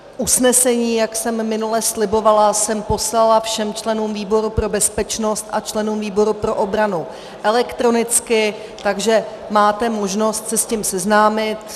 Usnesení, jak jsem minule slibovala, jsem poslala všem členům výboru pro bezpečnost a členům výboru pro obranu elektronicky, takže máte možnost se s tím seznámit.